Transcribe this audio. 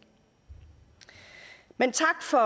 men tak for